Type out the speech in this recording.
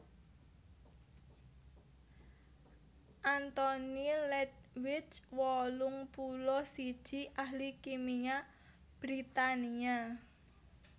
Anthony Ledwith wolung puluh siji ahli kimia Britania